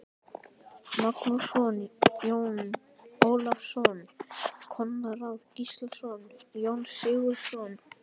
Magnússon, Jón Ólafsson, Konráð Gíslason, Jón Sigurðsson